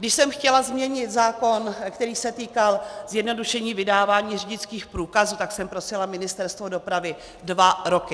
Když jsem chtěla změnit zákon, který se týkal zjednodušení vydávání řidičských průkazů, tak jsem prosila Ministerstvo dopravy dva roky.